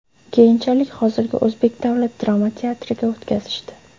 Keyinchalik hozirgi O‘zbek davlat drama teatriga o‘tkazishdi.